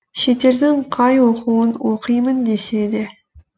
шетелдің қай оқуын оқимын десе де